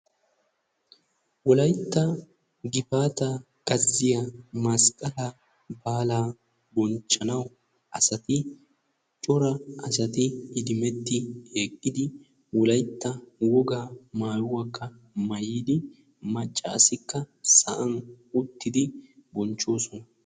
Wolaytta gifaata gazziya masqqalaa baalaa bonchchanaw asati cor asati iddimettii eqqidi wolaytta wogaa maayuwaa maayyidi maccassikka sa'an uttidi bonchchoosona.